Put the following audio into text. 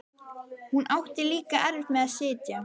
Hún átti líka erfitt með að sitja.